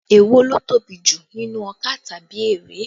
Èwo ló tóbi jù nínú ọkà tàbí erè?